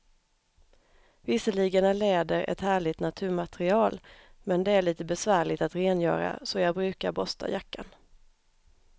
Visserligen är läder ett härligt naturmaterial, men det är lite besvärligt att rengöra, så jag brukar borsta jackan.